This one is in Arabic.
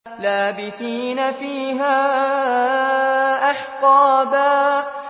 لَّابِثِينَ فِيهَا أَحْقَابًا